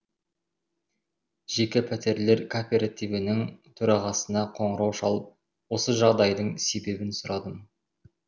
жеке пәтерлер кооперативінің төрағасына қоңырау шалып осы жағдайдың себебін сұрадым